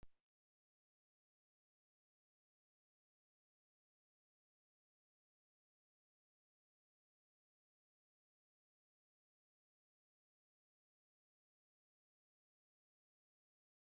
Hvernig er nú stemningin?